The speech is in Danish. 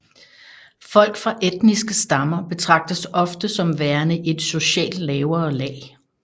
Folk fra etniske stammer betragtes ofte som værende et socialt lavere lag